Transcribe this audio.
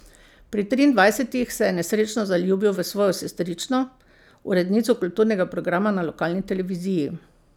Pri triindvajsetih se je nesrečno zaljubil v svojo sestrično, urednico kulturnega programa na lokalni televiziji.